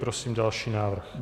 Prosím další návrh.